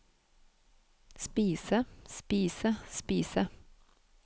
spise spise spise